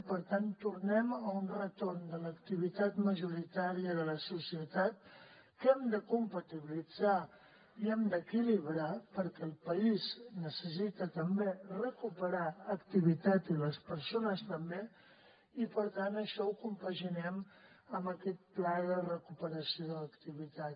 i per tant tornem a un retorn de l’activitat majoritària de la societat que hem de compatibilitzar i hem d’equilibrar perquè el país necessita també recuperar activitat i les persones també i per tant això ho compaginem amb aquest pla de recuperació de l’activitat